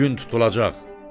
Gün tutulacaq.